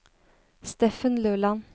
Steffen Løland